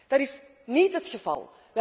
Dat is niet het geval.